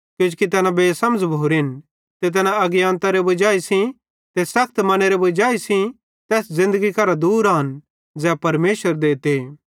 किजोकि तैना बेसमझ़ भोरेन ते तै अज्ञानतारी वजाई सेइं ते सखत मनेरे वजाई सेइं तैना तैस ज़िन्दगी करां दूर आन ज़ै परमेशर देते